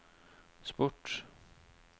sport